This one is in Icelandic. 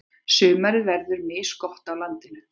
Sumarið verður misgott á landinu.